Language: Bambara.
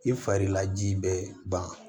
I farila ji bɛɛ ban